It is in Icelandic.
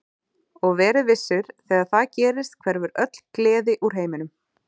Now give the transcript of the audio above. Og verið vissir, þegar það gerist hverfur öll gleði úr heiminum.